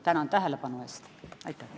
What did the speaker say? Tänan tähelepanu eest!